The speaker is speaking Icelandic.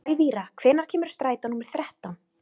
Elvira, hvenær kemur strætó númer þrettán?